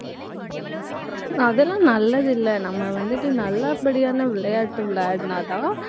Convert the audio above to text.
அதெல்லாம் நல்லது இல்ல. நம்ம வந்துட்டு நல்ல படியான விளையாட்டு விளையாடுனா தான்